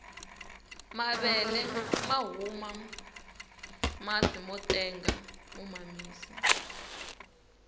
mavele mahuma masi motenga mo mamisa